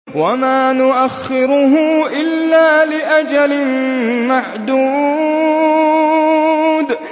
وَمَا نُؤَخِّرُهُ إِلَّا لِأَجَلٍ مَّعْدُودٍ